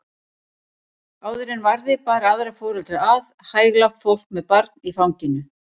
Áður en varði bar aðra foreldra að, hæglátt fólk með barn í fanginu.